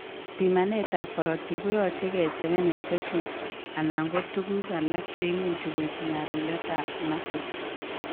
Pimanet ab korotik keyoi kocheken infections anan ko tuguk alak chemuch koib nyalulet ab muscles